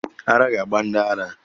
Ara ga-agba ndị ara.